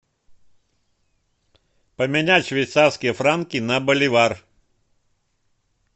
поменять швейцарские франки на боливар